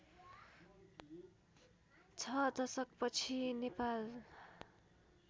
६ दशकपछि नेपाल